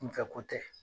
Kunfɛ ko tɛ